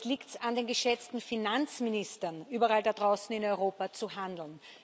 Jetzt liegt es an den geschätzten Finanzministern, überall da draußen in Europa, zu handeln.